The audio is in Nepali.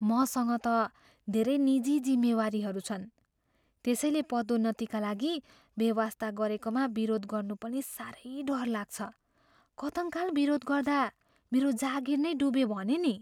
मसँग त धेरै निजी जिम्मेवारीहरू छन्, त्यसैले पदोन्नतिका लागि बेवास्ता गरेकामा विरोध गर्नु पनि साह्रै डर लाग्छ। कथङ्काल विरोध गर्दा मेरो जागिर नै डुब्यो भने नि!